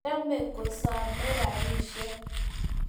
Chome kusome rubishek